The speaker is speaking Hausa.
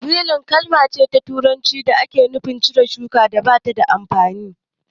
Widin kalma turanci ce da take nufi cire shukar da ba ta da amfani